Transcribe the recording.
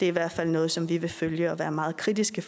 i hvert fald noget som vi vil følge og være meget kritiske